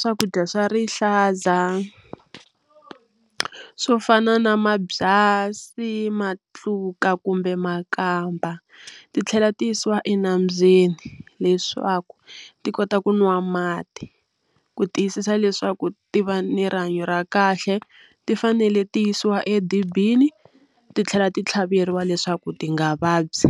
swakudya swa rihlaza swo fana na mabyasi matluka kumbe makamba titlhela ti yisiwa enambyeni leswaku ti kota ku nwa mati ku tiyisisa leswaku ti va ni rihanyo ra kahle ti fanele ti yisiwa edibini ti tlhela ti tlhaveriwa leswaku ti nga vabyi.